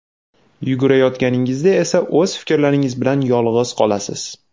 Yugurayotganingizda esa o‘z fikrlaringiz bilan yolg‘iz qolasiz.